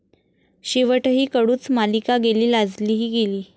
शेवटही कडूच, मालिका गेली लाजही गेली